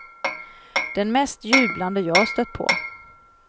Den mest jublande jag stött på.